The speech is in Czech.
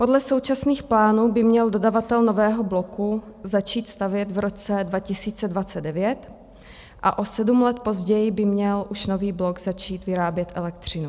Podle současných plánů by měl dodavatel nového bloku začít stavět v roce 2029 a o sedm let později by měl už nový blok začít vyrábět elektřinu.